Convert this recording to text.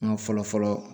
N ka fɔlɔ fɔlɔ